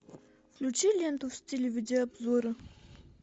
включи ленту в стиле видеообзора